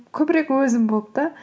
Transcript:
көбірек өзім болып та